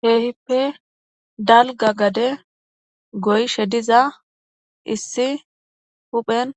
Keehippe dalga gade goyishe diza issi huphen